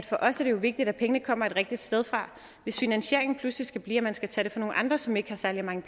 for os er vigtigt at pengene kommer et rigtigt sted fra hvis finansieringen pludselig skal blive at man skal tage nogle andre som ikke har særlig mange